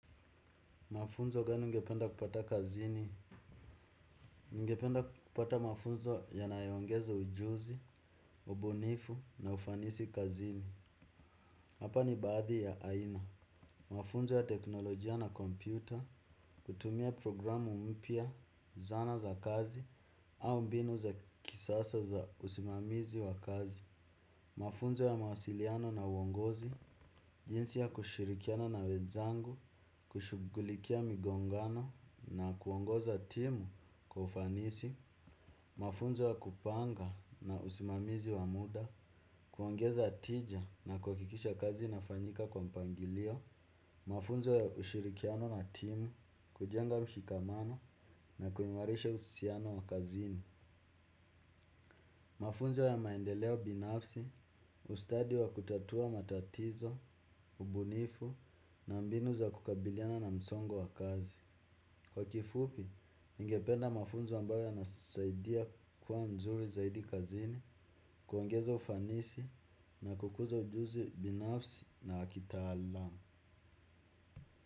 Mafunzo gani ungependa kupata kazini? Ngependa kupata mafunzo yanayoengeza ujuzi, ubunifu na ufanisi kazini. Hapa ni baadhi ya aina. Mafunzo ya teknolojia na kompyuta, kutumia programu mpya, zana za kazi, au mbinu za kisasa za usimamizi wa kazi. Mafunzo ya mawasiliano na uongozi. Jinsi ya kushirikiana na wenzangu, kushughulikia migongano na kuongoza timu kwa ufanisi. Mafunzo ya kupanga na usimamizi wa muda, kuongeza tija na kuhakikisha kazi inafanyika kwa mpangilio. Mafunzo ya ushirikiano na timu, kujenga mshikamano na kuimarisha uhusiano wa kazini. Mafunzo ya maendeleo binafsi, ustadi wa kutatua matatizo, ubunifu na mbinu za kukabiliana na msongo wa kazi. Kwa kifupi, ningependa mafunzo ambayo yanasaidia kuwa mzuri zaidi kazini, kuongeza ufanisi na kukuza ujuzi binafsi na kitaalamu.